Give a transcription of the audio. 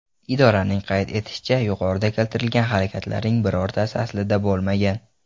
Idoraning qayd etishicha, yuqorida keltirilgan harakatlarning birortasi aslida bo‘lmagan.